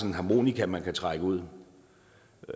en harmonika man kan trække ud